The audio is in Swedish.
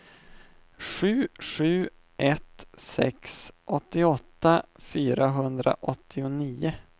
sju sju ett sex åttioåtta fyrahundraåttionio